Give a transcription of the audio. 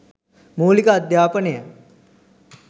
මූලික අධ්‍යාපනය